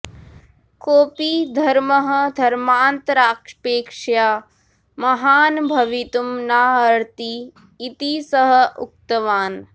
कोपि धर्मः धर्मान्तरापेक्ष्या महान् भवितुं नार्हति इति सः उक्तवान्